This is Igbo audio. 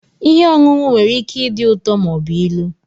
Ihe ọṅụṅụ nwere ike ịdị ụtọ ma ọ bụ ilu.